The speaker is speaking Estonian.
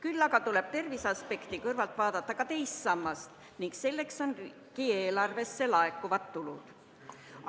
Samas tuleb tervise aspekti kõrval silmas pidada ka teist sammast, milleks on riigieelarvesse laekuvad tulud.